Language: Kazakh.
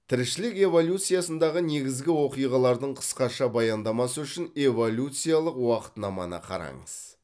тіршілік эволюциясындағы негізгі оқиғалардың қысқаша баяндамасы үшін эволюциялық уақытнаманы қараңыз